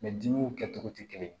dimiw kɛcogo tɛ kelen ye